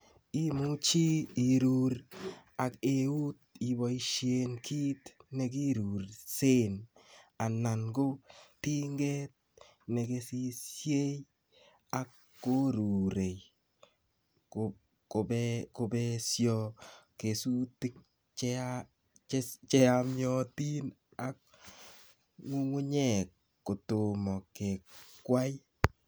imuchi iruur ak eut iboisien kiit nekiruursen anan ko tinget nekesisie ak koruure kobeesyo kesutik cheyaamyotin ak ngungunyek kotomo kekwai.